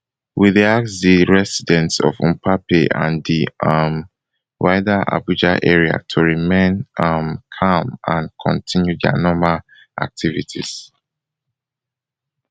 we dey ask di residents of mpape and di um wider abuja area to remain um calm and continue dia normal activities